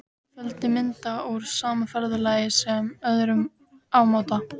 Fjöldi mynda úr sama ferðalagi eða öðrum ámóta.